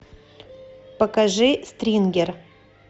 покажи стрингер